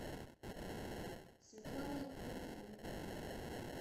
светлана витальевна